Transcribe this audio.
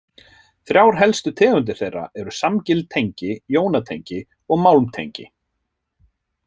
Þrjár helstu tegundir þeirra eru samgild tengi, jónatengi og málmtengi.